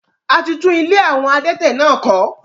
A ti tún ilé àwọn adẹ́tẹ̀ náà kọ̀